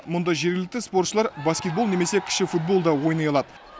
мұнда жергілікті спортшылар баскетбол немесе кіші футбол да ойнай алады